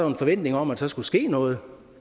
en forventning om at der skulle ske noget